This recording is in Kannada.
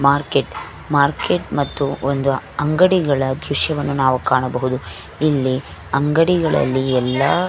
ಮಾರ್ಕೆಟ್ ಮಾರ್ಕೆಟ್ ಮತ್ತು ಒಂದು ಅಂಗಡಿಗಳ ದ್ರಶ್ಯವನ್ನು ನಾವು ಕಾಣಬಹುದು ಇಲ್ಲಿ ಅಂಗಡಿಗಳಲ್ಲಿ ಎಲ್ಲ --